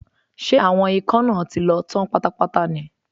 Ṣé àwọn ikán náà ti lọ tán pátápátá ní?